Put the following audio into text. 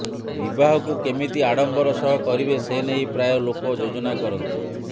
ବିବାହକୁ କେମିତି ଆଡମ୍ବର ସହ କରିବେ ସେ ନେଇ ପ୍ରାୟ ଲୋକ ଯୋଜନା କରନ୍ତି